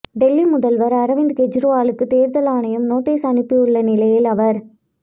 டெல்லி முதல்வர் அரவிந்த் கெஜரிவாலுக்கு தேர்தல் ஆணையம் நோட்டீஸ் அனுப்பியுள்ள நிலையில் அவர்